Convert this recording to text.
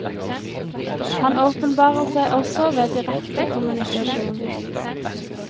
Han åpenbarer seg også ved direkte kommunikasjon.